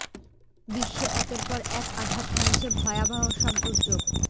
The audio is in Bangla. বিশ্বে একের পর এক আঘাত হানছে ভয়াবহ সব দুর্যোগ